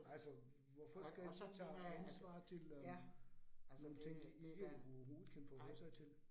Altså hvorfor skal lille Nina have ansvaret til øh nogle ting de ikke overhovedet kan forholde sig til